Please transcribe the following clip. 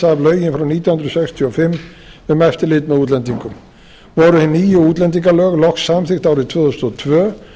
af lögin frá nítján hundruð sextíu og fimm um eftirlit með útlendingum voru hin nýju útlendingalög loks samþykkt árið tvö þúsund og tvö og